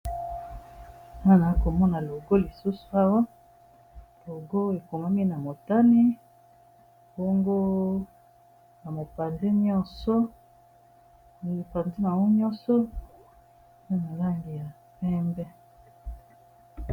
Wana nakomona logo lisusu awa logo ekomami na motane bongo na mopanzi nyonso pe na langi ya pembe.